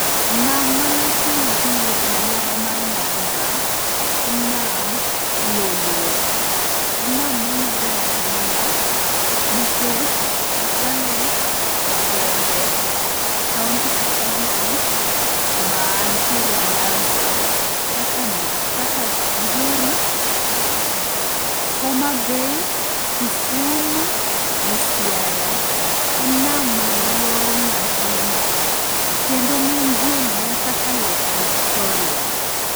Nam malach mogik e alwora mar nyanza en nam lolwe. En nam mong'ere ahinya nikech okale gwenge e kaonti ka kaonti mantiere nyanza kaka migori, homabay, kisumu gi siaya. En nam maduong' ahinya kendo ng'eny ji ong'eye kaka Lake Victoria.